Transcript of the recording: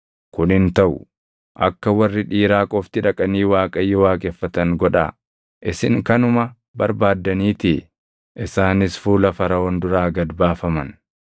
Kun hin taʼu! Akka warri dhiiraa qofti dhaqanii Waaqayyo waaqeffatan godhaa; isin kanuma barbaaddaniitii.” Isaanis fuula Faraʼoon duraa gad baafaman.